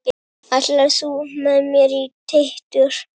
Ætlar þú með mér Teitur!